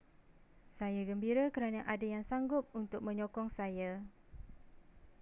saya gembira kerana ada yang sanggup untuk menyokong saya